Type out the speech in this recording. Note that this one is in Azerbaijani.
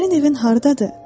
Sənin evin hardadır?